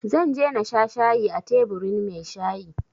Zan je na sha shayi a teburin mai shayi